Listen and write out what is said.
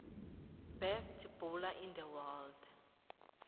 best bowler in the world